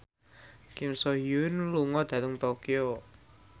Kim So Hyun lunga dhateng Tokyo